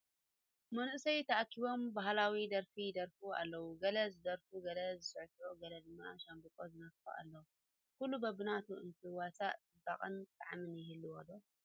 መናእሰይ ተኣኪቦም ባህላዊ ደርፊ ይደርፉ ኣለዉ፡፡ ገለ ዝደርፍ፣ ገለ ዝስዕስዕ፣ ገለ ድማ ሻምበቆ ዝነፍሕ ኣሎ፡፡ ኩሉ በብናቱ እንትዋሳእ ፅባቐን ጣዕምን ይህልዎ ዶ?